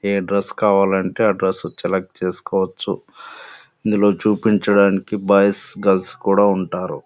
ఏ dress కావాలంటే ఆ dress select చేసుకోవచ్చు. ఇందులో చూపించడానికి బాయ్స్ గర్ల్స్ కూడా ఉంటారు.